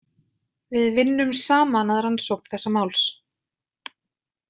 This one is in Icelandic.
Við vinnum saman að rannsókn þessa máls.